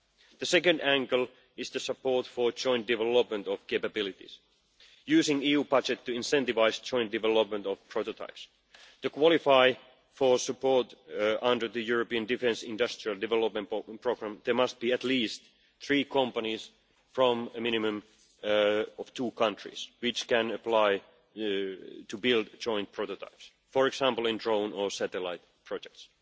The second angle is support for joint development of capabilities, using the EU budget to incentivise joint development of prototypes. To qualify for support under the European defence industrial development programme, there must be at least three companies from a minimum of two countries which can apply to build joint prototypes, for example in drone or satellite projects.